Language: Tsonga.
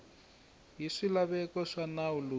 hi swilaveko swa nawu lowu